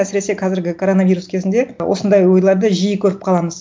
әсіресе қазіргі коронавирус кезінде осындай ойларды жиі көріп қаламыз